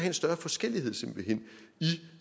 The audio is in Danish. en større forskellighed i